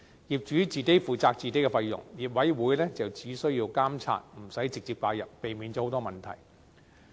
業主自己負責自己的費用，業委員只需監察，無須直接介入，避免了許多問題。